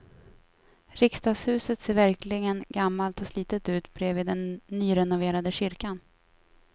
Riksdagshuset ser verkligen gammalt och slitet ut bredvid den nyrenoverade kyrkan.